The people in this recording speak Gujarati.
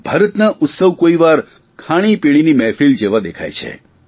ભારતના ઉત્સવ કોઇવાર ખાણીપીણીની મહેફિલ જેવા દેખાય છે